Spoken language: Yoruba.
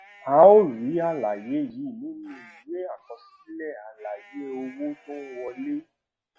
a ó rí àlàyé yìí nínú ìwé àkọsílẹ àlàyé owó tó ń wọlé